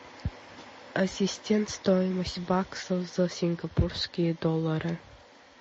ассистент стоимость баксов за сингапурские доллары